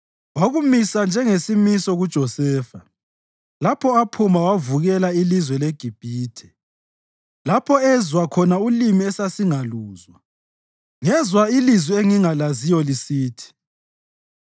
Wakumisa njengesimiso kuJosefa lapho aphuma wavukela ilizwe leGibhithe, lapho ezwa khona ulimi esasingaluzwa. Ngezwa ilizwi engingalaziyo lisithi: